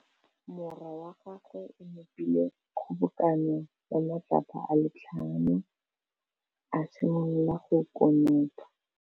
Morwa wa gagwe o nopile kgobokanô ya matlapa a le tlhano, a simolola go konopa.